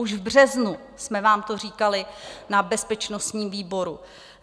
Už v březnu jsme vám to říkali na bezpečnostním výboru.